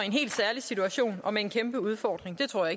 helt særlig situation og med en kæmpe udfordring det tror